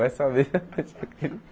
Vai saber.